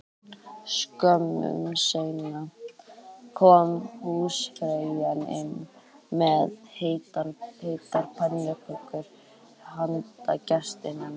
Skömmu seinna kom húsfreyjan inn með heitar pönnukökur handa gestunum